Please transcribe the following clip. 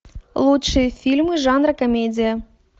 лучшие фильмы жанра комедия